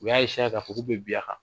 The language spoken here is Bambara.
U y'a k'a fɔ k'u bɛ bin a kan.